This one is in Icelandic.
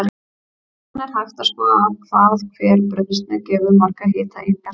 Síðan er hægt að skoða hvað hver brauðsneið gefur margar hitaeiningar.